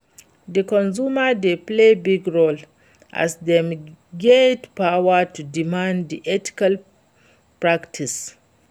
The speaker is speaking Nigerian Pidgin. di consumer dey play big role, as dem get power to demand di ethical practices.